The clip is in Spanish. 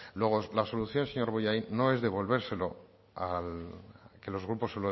luego la solución señor bollain no es devolvérselo al que los grupos se